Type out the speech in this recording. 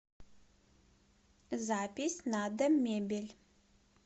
запись надомебель